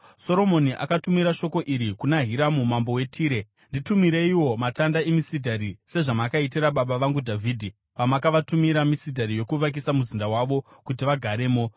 Soromoni akatumira shoko iri kuna Hiramu mambo weTire: “Nditumireiwo matanda emisidhari sezvamakaitira baba vangu Dhavhidhi pamakavatumira misidhari yokuvakisa muzinda wavo kuti vagaremo.